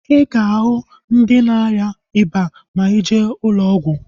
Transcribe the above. I ga-ahu ndị na-arịa ịba ma ije ụlọ ọgwụ